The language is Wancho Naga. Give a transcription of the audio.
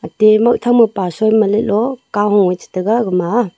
te moihtham mo pasoi maleh lo kahu eh chitaiga gama a.